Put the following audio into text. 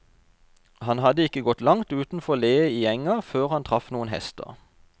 Han hadde ikke gått langt utenfor ledet i enga før han traff noen hester.